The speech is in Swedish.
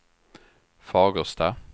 Fagersta